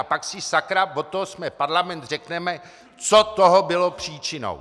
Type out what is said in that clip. A pak si sakra, od toho jsme parlament, řekneme, co toho bylo příčinou.